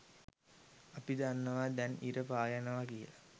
අපි දන්නවා දැන් ඉර පායනවා කියලා.